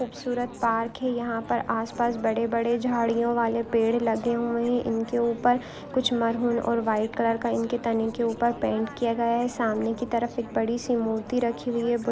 खूबसूरत पार्क है यहा पर आस पास बड़े-बड़े झाडीओ वाले पेड़ लगे हुए है इनके ऊपर कुछ मरून और व्हाइट कलर का इनके के ऊपर पेन्ट किया गया है सामने की तरफ एक बड़ी सी मूर्ति रखी हुई है बु--